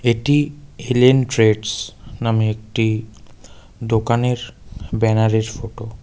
এটি L N traders নামে একটি দোকানের ব্যানারের ফোটো .